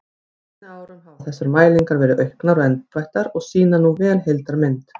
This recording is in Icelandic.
Á seinni árum hafa þessar mælingar verið auknar og endurbættar og sýna nú vel heildarmynd.